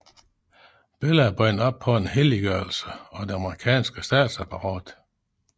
Bellah er bundet op på en helliggørelse af det amerikanske statsapparat